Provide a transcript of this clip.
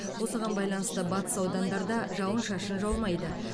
осыған байланысты батыс аудандарда жауын шашын жаумайды